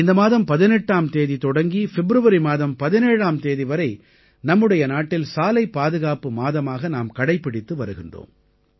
இந்த மாதம் 18ஆம் தேதி தொடங்கி பிப்ரவரி மாதம் 17ஆம் தேதி வரை நம்முடைய நாட்டில் சாலை பாதுகாப்பு மாதமாக நாம் கடைப்பிடித்து வருகிறோம்